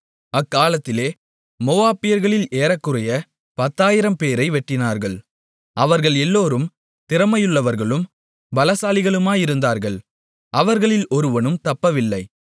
அக்காலத்திலே மோவாபியர்களில் ஏறக்குறையப் 10000 பேரை வெட்டினார்கள் அவர்கள் எல்லாரும் திறமையுள்ளவர்களும் பலசாலிகளுமாயிருந்தார்கள் அவர்களில் ஒருவனும் தப்பவில்லை